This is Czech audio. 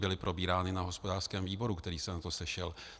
Byly probírány na hospodářském výboru, který se na to sešel.